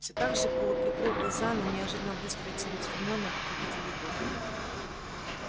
всё так же полуприкрыв глаза но неожиданно быстро и целеустремлённо будто видел егора